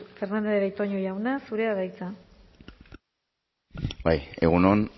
fernandez de betoño jauna zurea da hitza bai egun on